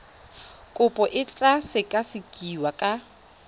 kopo e tla sekasekiwa ka